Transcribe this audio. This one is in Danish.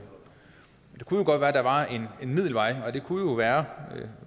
det kunne jo godt være der var en gylden middelvej og det kunne være